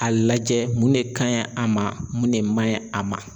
A lajɛ mun de kaɲi a ma mun de man ɲi a ma.